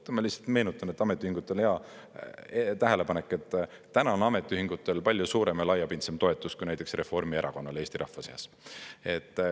Ma lihtsalt meenutan, et ametiühingutel on hea tähelepanek, et täna on ametiühingutel palju suurem ja laiapindsem toetus kui näiteks Reformierakonnal Eesti rahva seas.